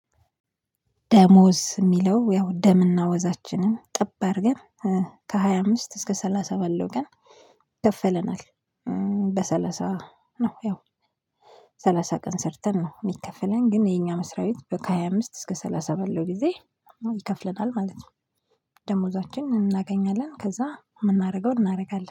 ደሞዝ የሚለው ያው ደምና ወዛችንን ጥበር ግን ከሃያ አምስት እስከ ሰላሳ ባለው ቀን ይከፈለናል። በሰላሳ ነው ያው ሰላሳ ቀን ሰርተን ነው የሚከፈለን ግን የኛ መስሪያ ቤት ከሃያ አምስት እስከ ሰላሳ በላይ ጊዜ ይከፍለናል ማለት ነው። ደመወዛችን እናገኛለን ከዛ የምናደርገው እናደርጋለን